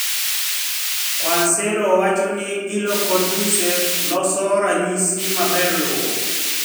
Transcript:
Guarcello wacho ni ILO kod UNICEF loso ranyisi maber luwo